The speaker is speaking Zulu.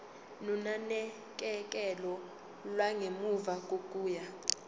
nonakekelo lwangemuva kokuya